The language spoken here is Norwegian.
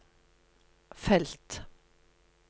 felt